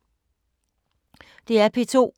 DR P2